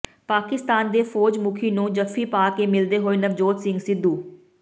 ਪਾਕਿਸਤਾਨ ਦੇ ਫੌਜ ਮੁਖੀ ਨੂੰ ਜੱਫੀ ਪਾ ਕੇ ਮਿਲਦੇ ਹੋਏ ਨਵਜੋਤ ਸਿੰਘ ਸਿੱਧੂ